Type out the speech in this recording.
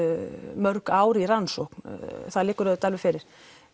mörg ár í rannsókn það liggur auðvitað alveg fyrir